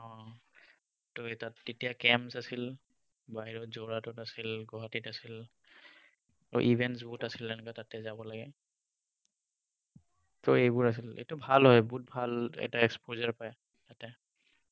ত তাত তেতিয়া camps আছিল। বাহিৰত যোৰহাটত আছিল, গুৱাহাটীত আছিল, ত even জুহুত আছিল। এনেকৈ তাতে যাব লাগে। ত সেইবোৰ আছিল। এইটো ভাল হয়, বহুত ভাল এটা exposure পায় তাতে।